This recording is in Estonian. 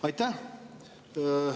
Aitäh!